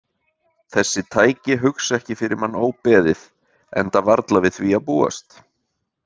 Þessi tæki hugsa ekki fyrir mann óbeðið, enda varla við því að búast.